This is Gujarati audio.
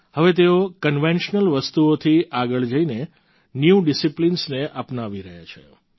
હવે તેઓ કન્વેન્શનલ વસ્તુઓથી આગળ જઈને ન્યૂ ડિસિપ્લિન્સ ને અપનાવી રહ્યા છે